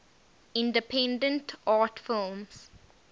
independent art films